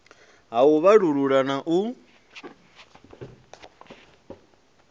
ha u vhalullula na u